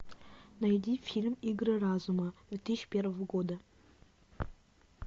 найди фильм игры разума две тысячи первого года